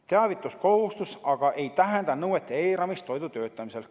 Teavituskohustus aga ei tähenda nõuete eiramist toidu töötlemisel.